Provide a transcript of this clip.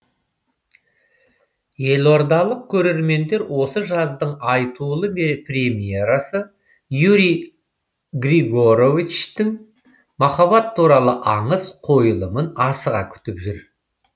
елордалық көрермендер осы жаздың айтулы премьерасы юрий григоровичтің махаббат туралы аңыз қойылымын асыға күтіп жүр